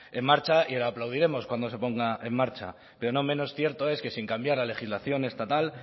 en marcha y le aplaudiremos cuando se ponga en marcha pero no menos cierto es que sin cambiar la legislación estatal